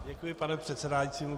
Děkuji, pane předsedající.